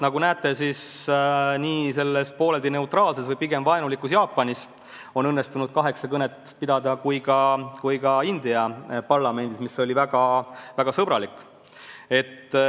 Nagu näete, pooleldi neutraalses või pigem vaenulikus Jaapanis on õnnestunud kaheksa kõnet pidada, samuti India parlamendis, mis oli väga sõbralik.